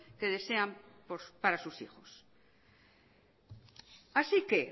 que desean para sus hijos así que